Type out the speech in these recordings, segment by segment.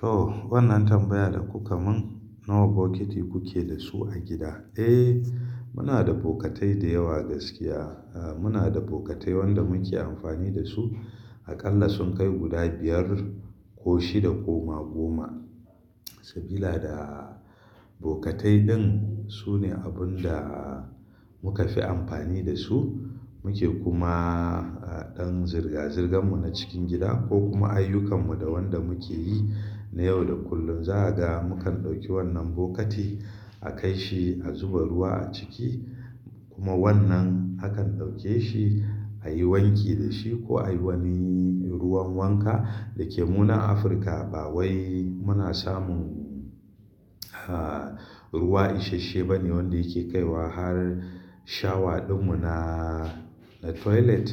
To wannan tambaya da kuka mun, nawa bokiti kuke da su a gida? Eh muna da bukatai da yawa gaskiya. Muna da bukatai wanda muke amfani da su aƙalla sun kai guda biyar ko shida ko ma goma. Sabila da bukatai din sune abun da muka fi amfani da su. Muke kuma a ɗan zirga-zirgan mu na cikin gida ko kuma ayyukan mu da wanda muke yi. Na yau da kullum za aga mukan ɗauki wannan bokati a kai shi a zuba ruwa a ciki kuma wannan akan ɗauke shi a yi wanki da shi ko a yi wani ruwan wanka. Da ke mu nan Afirka ba wai muna samun ruwa isashe bane wanda yake kaiwa har shawa din mu na toilet.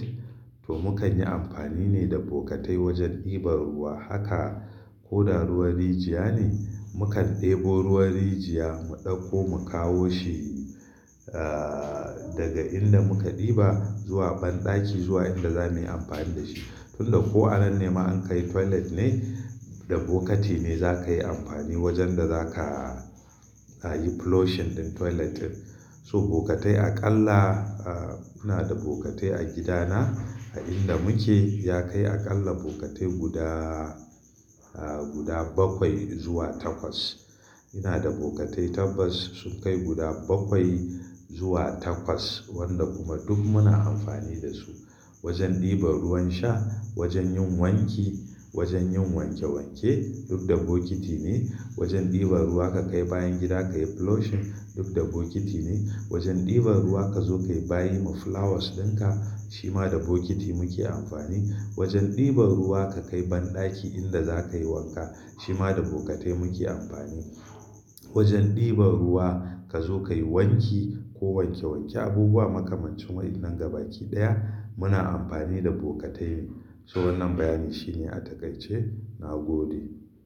To mukan yi amfani ne da bukatai wajen ɗiba ruwa haka ko da ruwan rijiya ne. Mukan ɗebo ruwan rijiyar mu ɗauko mu kawo shi daga inda muka ɗiba zuwa banɗaki zuwa inda zamuyi amfani da shi. Tun da ko anan nema an kai toilet ne, da bokati ne za ka yi amfani wajen da za ka yi flushing ɗin toiletin. So bukatai aƙalla muna da bukatai a gidana a inda muke ya kai aƙalla bukatai guda, guda bakwai zuwa takwas. Ina da bukatai tabbas sun kai guda bakwai zuwa takwas wanda kuma duk muna amfani da su. Wajen ɗiba ruwan sha, wajen yin wanki, wajen yin wanke wanke duk da bokiti ne. Wajen ɗiba ruwa ka kai bayan gida ka yi flushing duk da bokiti ne. Wajen ɗiba ruwa ka zo ka yi bayi ma flowers dinka shima da bokiti muke amfani. Wajen ɗiba ruwa ka kai banɗaki inda za ka yi wanka shima da bukatai muke amfani. Wajen ɗiba ruwa ka zo ka yi wanki ko wanke wanke abubuwa makamancin wannan gabaki daya muna amfani da bukatai ne. So wannan bayani shine a takaice na gode.